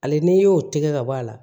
Hali n'i y'o tigɛ ka bɔ a la